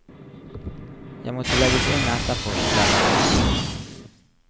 Jeg måtte legges inn etterpå, forteller hun.